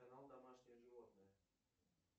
канал домашние животные